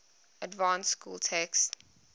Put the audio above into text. advanced school text